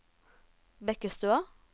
Bekkestua